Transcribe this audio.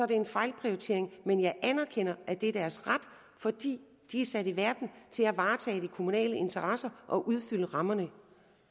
det en fejlprioritering men jeg anerkender at det er deres ret fordi de er sat i verden til at varetage de kommunale interesser og udfylde rammerne